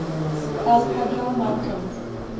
al hajar mountains